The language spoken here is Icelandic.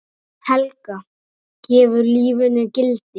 Helga: Gefur lífinu gildi?